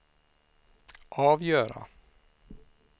avgöra